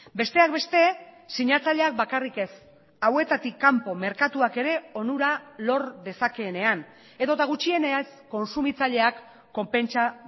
besteak beste sinatzaileak bakarrik ez hauetatik kanpo merkatuak ere onura lor dezakeenean edota gutxienez kontsumitzaileak konpentsa